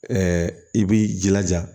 i b'i jilaja